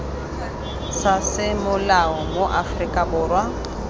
sa semolao mo aforika borwa